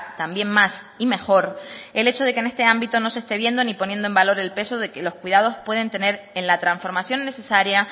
también más y mejor el hecho de que en este ámbito no se esté viendo ni poniendo en valor el peso de que los cuidados pueden tener la transformación necesaria